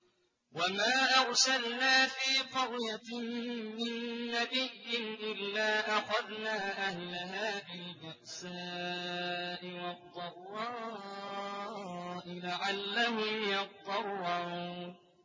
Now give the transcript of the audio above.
وَمَا أَرْسَلْنَا فِي قَرْيَةٍ مِّن نَّبِيٍّ إِلَّا أَخَذْنَا أَهْلَهَا بِالْبَأْسَاءِ وَالضَّرَّاءِ لَعَلَّهُمْ يَضَّرَّعُونَ